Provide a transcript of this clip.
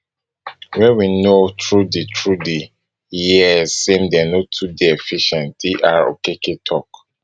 wey we know through di through di years say dem no too dey efficient dr okere tok